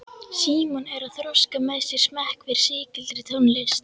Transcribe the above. Símon er að þroska með sér smekk fyrir sígildri tónlist.